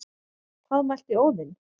Hvað mælti Óðinn,